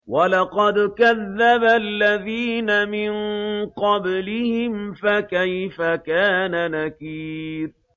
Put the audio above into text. وَلَقَدْ كَذَّبَ الَّذِينَ مِن قَبْلِهِمْ فَكَيْفَ كَانَ نَكِيرِ